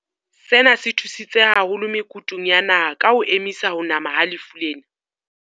Sena se thusitse haholo me kutung ya naha ya ho ngotla ho nama ha lefu lena.